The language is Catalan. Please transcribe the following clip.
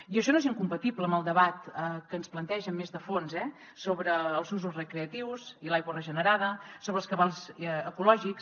i això no és incompatible amb el debat que ens plantegen més de fons eh sobre els usos recreatius i l’aigua regenerada sobre els cabals ecològics